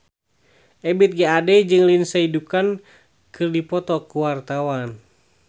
Ebith G. Ade jeung Lindsay Ducan keur dipoto ku wartawan